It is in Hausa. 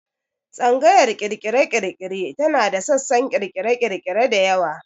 Tsangayar ƙirƙire-ƙirƙire tana da sassan ƙirƙire-ƙirƙire da yawa.